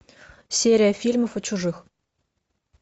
серия фильмов о чужих